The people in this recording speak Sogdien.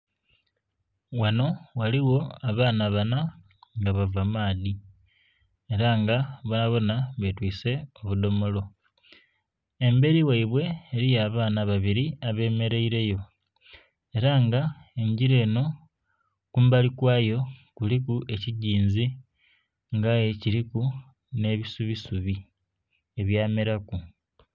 Ghanho ghaligho abaana bana nga bava maadhi era nga bonabona be twise obudhomolo emberi ghaibwe eriyo abaana babiri abe mereire yo era nga engila enho kumbali kwayo kuliku ekigiinzi nga aye kiliku nhe busubi subi ebya meraku.